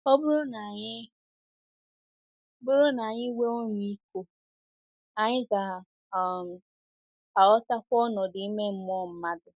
Ọ bụrụ na anyị bụrụ na anyị nwee ọmịiko, anyị ga um - aghọtakwa ọnọdụ ime mmụọ mmadụ.